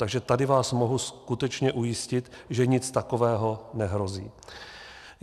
Takže tady vás můžu skutečně ujistit, že nic takového nehrozí.